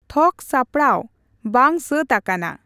ᱛᱷᱚᱠ ᱥᱟᱯᱲᱟᱣ ᱵᱟᱝ ᱥᱟᱹᱛ ᱟᱠᱟᱱᱟ